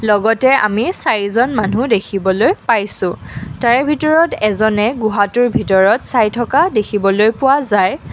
লগতে আমি চাৰিজন মানুহ দেখিবলৈ পাইছোঁ তাৰ ভিতৰত এজনে গুহাটোৰ ভিতৰত চাই থকা দেখিবলৈ পোৱা যায়।